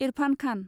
Irfan Khan